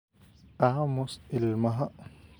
Aamus ilmaha